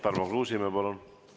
Tarmo Kruusimäe, palun!